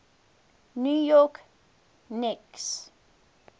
new york knicks